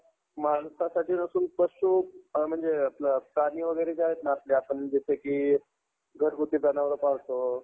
माणसासाठी नसून पशु म्हणजे आपलं जे प्राणी वगैरे आहेत ना आपले आपण जसे की घरगुती जनावरं पाळतो.